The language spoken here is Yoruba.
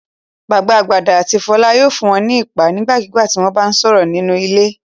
Bàbá Gbadé àti Fọlá yóò fún wọn ní iìpá nígbàkigbà tí wọ́n bá sọ̀rọ̀ nínú ilé.